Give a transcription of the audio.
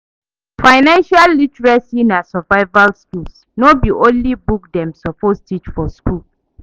Financial literacy na survival skill, no be only book dem suppose teach for school.